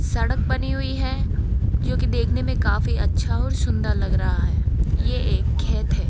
सड़क बनी हुईं हैं जो की देखने में काफी अच्छा और सुंदर लग रहा है ये एक खेत है।